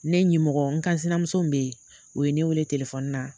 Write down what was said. Ne ɲimɔgɔ, n kansinamuso min bɛ yen, u ye ne wele telefoni na,